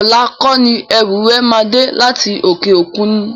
Ọlá kọ́ni ẹrú rẹ máa dé láti òkè òkun ni?